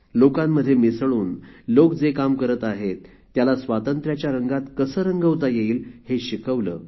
लोकांमध्ये मिसळून लोक जे काम करत आहेत त्याला स्वातंत्र्याच्या रंगात कसे रंगवता येईल हे शिकवले